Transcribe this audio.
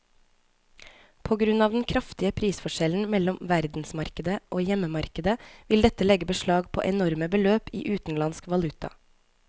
På grunn av den kraftige prisforskjellen mellom verdensmarkedet og hjemmemarkedet vil dette legge beslag på enorme beløp i utenlandsk valuta.